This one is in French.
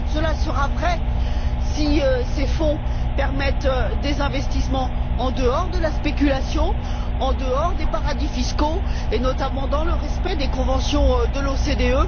Cela sera vrai si ces fonds permettent des investissements en dehors de la spéculation, en dehors des paradis fiscaux et notamment dans le respect des conventions de l'OCDE.